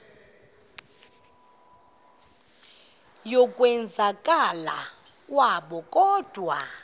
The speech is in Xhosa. yokwenzakala kwabo kodwa